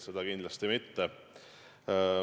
Seda kindlasti mitte.